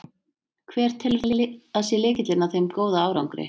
Hver telur þú að sé lykillinn að þeim góða árangri?